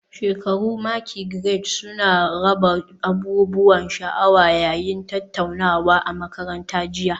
Shekaru maki Grades suna raba abubuwan sha'awa yayin tattaunawa a makaranta jiya